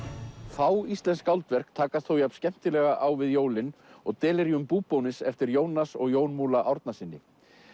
fá íslensk skáldverk takast þó jafn skemmtilega á við jólin og Delerium Búbónis eftir Jónas og Jón Múla Árnasyni